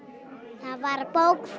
það var bók